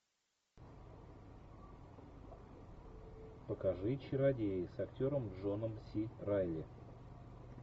покажи чародеи с актером джоном си райли